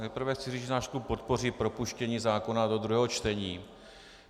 Nejprve chci říct, že náš klub podpoří propuštění zákona do druhého čtení.